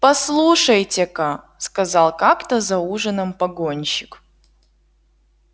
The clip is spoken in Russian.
послушайте-ка сказал как то за ужином погонщик